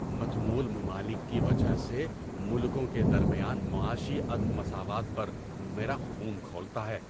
متمول ممالک کی وجہ سے ملکوں کے درمیان معاشی عدم مساوات پر میرا خون کھولتا ہے۔